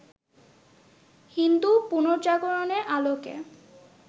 হিন্দু পুনর্জাগরণের আলোকে